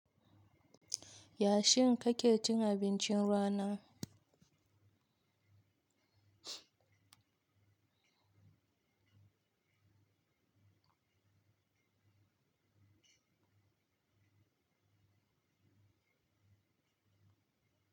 Yashin kake cin abincin rana?